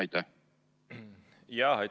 Aitäh!